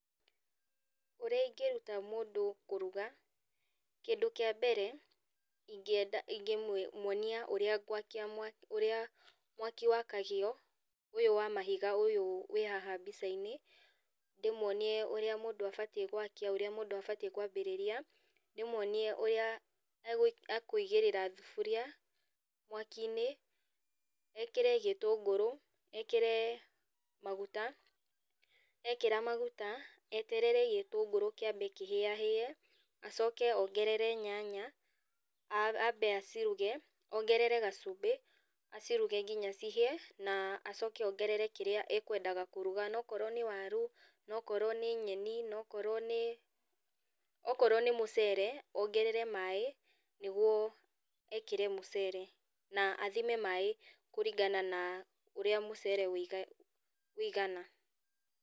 Ũrĩa ingĩruta mũndũ kũruga, kindũ kĩa mbere, ingĩenda ingĩmwĩ mwonia ũrĩa ngwakia mwaki ũrĩa mwaki wakagio, ũyũ wa mahiga, ũyũ wĩ haha mbicainĩ, ndĩmwonie ũrĩa mũndũ abatiĩ gwakia, ũrĩa mũndũ abatiĩ kwambĩrĩria, ndĩmwonie ũrĩa akũigĩrĩra thuburia, mwakinĩ, ekĩre gĩtũngũrũ, ekĩre maguta, ekĩra maguta, eterere gĩtũngũrũ kĩambe kĩhĩa hĩe, acoke ongerere nyanya, ambe aciruge, ongerere gacumbĩ, aciruge nginya cihĩe, na acoke ongerere kĩrĩa ekwendaga kũruga. Nokorwo nĩ waru, nokorwo nĩ nyeni, nokorwo nĩ, okorwo nĩ mũcere, ongerere maĩ, nĩguo ekĩre mũcere, na athime maĩ kũringana na ũrĩa mũcere wĩiga wĩigana.